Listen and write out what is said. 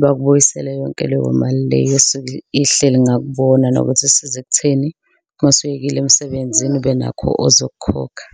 bakubuyisele yonke leyo mali le esuke ihleli ngakubona nokuthi isiza ekutheni uma usuyekile emsebenzini ubenakho ozokukhokha.